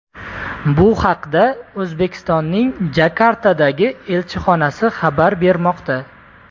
Bu haqda O‘zbekistonning Jakartadagi elchixonasi xabar bermoqda.